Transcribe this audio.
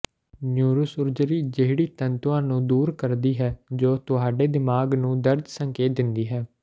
neurosurgery ਜਿਹੜੀ ਤੰਤੂਆਂ ਨੂੰ ਦੂਰ ਕਰਦੀ ਹੈ ਜੋ ਤੁਹਾਡੇ ਦਿਮਾਗ ਨੂੰ ਦਰਦ ਸੰਕੇਤ ਦਿੰਦੀ ਹੈ